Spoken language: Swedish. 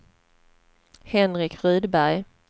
Henrik Rydberg